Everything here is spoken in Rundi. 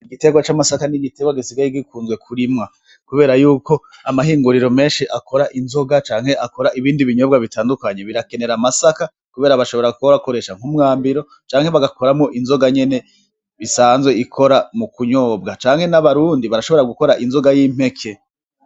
igiterwa c'amasaka n'igiterwa gisigaye gikunzwe kurimwa kubera yuko amahinguriro meshi akora inzoga canke akora ibindi binyobwa bitandukanye birakenera amasaka kubera bashobora kuyakoresha nk'umwambiro canke bagakoramwo inzoga nyene isanzwe ikora mu kunyobwa canke n'abarundi barashobora gukora inzoga y'impeke.